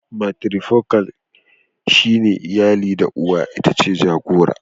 "Matrifocal" shine iyalin da uwa itace jagora".